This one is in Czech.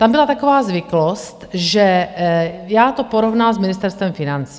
Tam byla taková zvyklost, že - já to porovnám s Ministerstvem financí.